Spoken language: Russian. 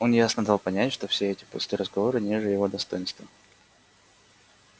он ясно дал понять что все эти пустые разговоры ниже его достоинства